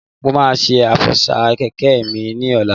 Mo máa ṣe Àsọ́fà kẹ̀kẹ́ mi ni ọ̀la